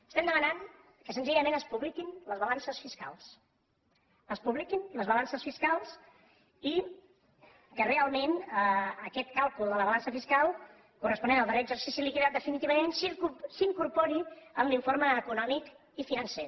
estem demanant que senzillament es publiquin les balances fiscals es publiquin les balances fiscals i que realment aquest càlcul de la balança fiscal corresponent al darrer exercici liquidat definitivament s’incorpori a l’informe econòmic i financer